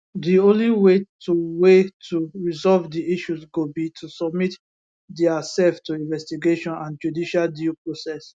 di only way to way to resolve di issues go be to submit diasef to investigation and judicial due process